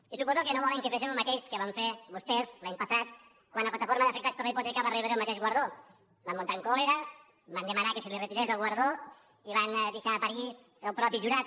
i suposo que no volen que fem el mateix que van fer vostès l’any passat quan la plataforma d’afectats per la hipoteca va rebre el mateix guardó van muntar en còlera van demanar que se li retirés el guardó i van deixar a parir el mateix jurat